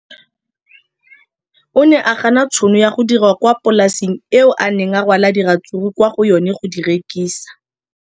O ne a gana tšhono ya go dira kwa polaseng eo a neng rwala diratsuru kwa go yona go di rekisa.